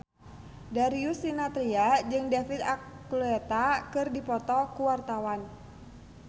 Darius Sinathrya jeung David Archuletta keur dipoto ku wartawan